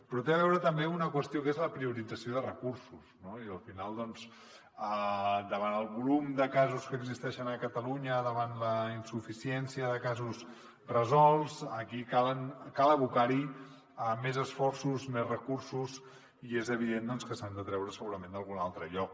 però té a veure també amb una qüestió que és la priorització de recursos no i al final doncs davant el volum de casos que existeixen a catalunya davant la insuficiència de casos resolts aquí cal abocar hi més esforços més recursos i és evident que s’han de treure segurament d’algun altre lloc